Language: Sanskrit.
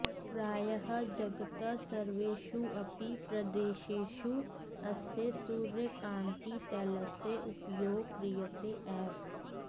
प्रायः जगतः सर्वेषु अपि प्रदेशेषु अस्य सूर्यकान्तितैलस्य उपयोगः क्रियते एव